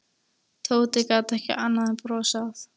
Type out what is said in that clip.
Tóti gat ekki annað en brosað.